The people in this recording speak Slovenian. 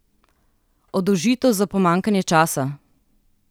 Oddolžitev za pomanjkanje časa?